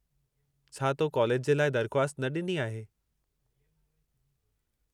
छा तो कॉलेज जे लाइ दर्ख़्वास्त न ॾिनी आहे?